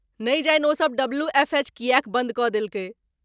नहि जानि ओ सब डब्ल्यू.एफ.एच. किए बन्द कऽ देलकै? .